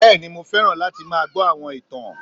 Bẹ́ẹ̀ni ni mo fẹ́ràn láti máa gbọ́ àwọn ìtàn